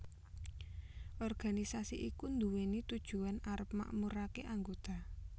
Organisasi iki nduweni tujuan arep makmurake anggota